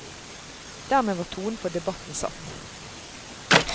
Dermed var tonen for debatten satt.